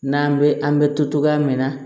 N'an bɛ an bɛ to cogoya min na